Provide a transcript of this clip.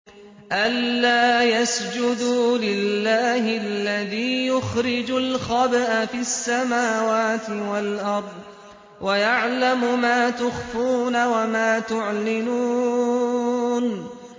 أَلَّا يَسْجُدُوا لِلَّهِ الَّذِي يُخْرِجُ الْخَبْءَ فِي السَّمَاوَاتِ وَالْأَرْضِ وَيَعْلَمُ مَا تُخْفُونَ وَمَا تُعْلِنُونَ